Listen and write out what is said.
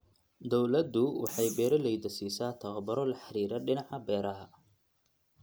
Dawladdu waxay beeralayda siisaa tababaro la xidhiidha dhinaca beeraha.